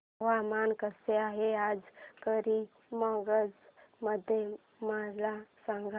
हवामान कसे आहे आज करीमगंज मध्ये मला सांगा